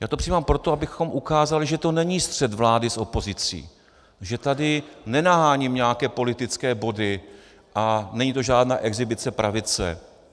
Já to připomínám proto, abychom ukázali, že to není střet vlády s opozicí, že tady nenaháním nějaké politické body a není to žádná exhibice pravice.